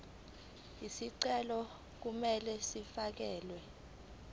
izicelo kumele zifakelwe